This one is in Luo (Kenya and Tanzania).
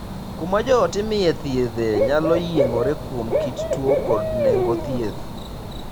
Kuma joot imiye thiedhe nyalo yiengore kuom kit tuo kod nengo thieth.